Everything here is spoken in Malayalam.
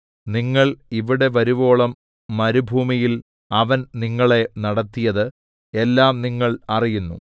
നിങ്ങൾ ഇവിടെ വരുവോളം മരുഭൂമിയിൽ അവൻ നിങ്ങളെ നടത്തിയത് എല്ലാം നിങ്ങൾ അറിയുന്നു